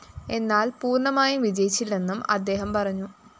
എന്നാല്‍ പൂര്‍ണ്ണമായും വിജയിച്ചില്ലെന്നും അദ്ദേഹം പറഞ്ഞു